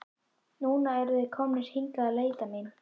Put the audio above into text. Núna eru þeir komnir hingað að leita mín.